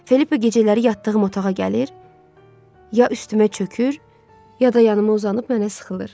Filippa gecələri yatdığım otağa gəlir, ya üstümə çökür, ya da yanıma uzanıb mənə sıxılır.